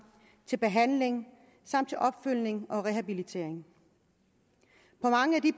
til behandling samt til opfølgning og rehabilitering på mange af de